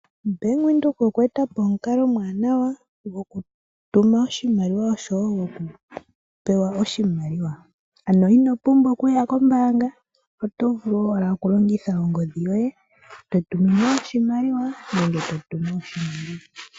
Ombaanga ya venduka oye etapo omukalo omwaanawa, gwo ku tuma oshimaliwa, osho wo gwo kupewa oshimaliwa. Ano ino pumbwa oku ya kombaanga, oto vulu ashike oku longitha ongodhi yoye, to tuminwa oshimaliwa, ngoye to tumu oshimaliwa.